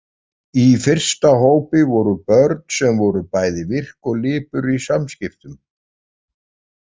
Í fyrsta hópi voru börn sem voru bæði virk og lipur í samskiptum.